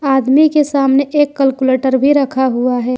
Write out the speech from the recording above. आदमी के सामने एक कलकुलेटर भी रखा हुआ है।